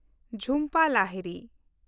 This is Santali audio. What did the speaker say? ᱡᱷᱩᱢᱯᱟ ᱞᱟᱦᱤᱲᱤ